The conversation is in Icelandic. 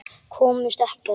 Komust ekkert.